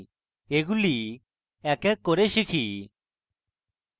এগুলি এক এক করে শিখি